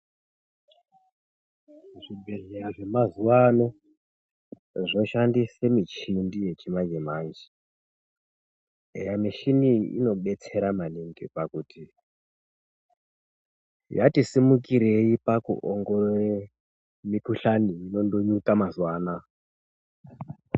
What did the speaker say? Muzvibhedhleya zvemazuwaano zvoshandise michini yechimanje manje. Eya michini iyi inotidetsere maningi pakuti yati simukirei pakuongorora mikuhlani inonyuka mazuwaanaa.